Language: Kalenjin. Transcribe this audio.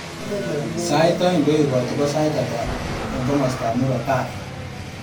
Sait aeng ngoekati ko sait ata eng komostab murop tai